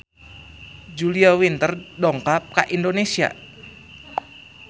Julia Winter dongkap ka Indonesia